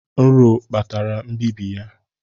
Nro kpatara mbibi ya